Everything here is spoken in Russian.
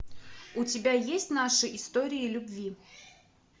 у тебя есть наши истории любви